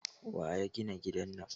Waya gina gidan nan?